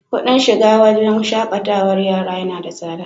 Kuɗin shiga wurin shaƙatarwar yara yana da tsada.